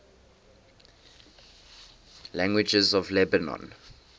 languages of lebanon